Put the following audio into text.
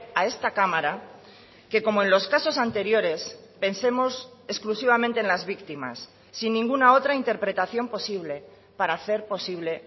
a esta cámara que como en los casos anteriores pensemos exclusivamente en las víctimas sin ninguna otra interpretación posible para hacer posible